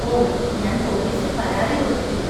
ഓ, ഞാൻ പോലീസിൽ പരാതി കൊടുത്തിട്ടില്ല.